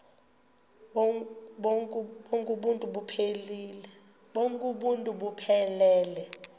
bonk uuntu buphelele